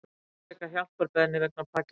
Ítreka hjálparbeiðni vegna Pakistan